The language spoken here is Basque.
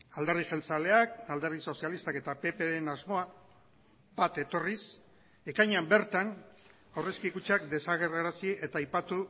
alderdi jeltzaleak alderdi sozialistak eta ppren asmoa bat etorriz ekainean bertan aurrezki kutxak desagerrarazi eta aipatu